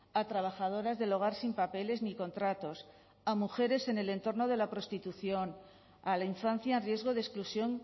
a trabajadoras del hogar sin papeles ni contratos a mujeres en el entorno de la prostitución a la infancia en riesgo de exclusión